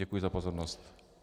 Děkuji za pozornost.